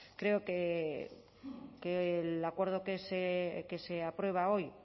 creo que el acuerdo que se aprueba hoy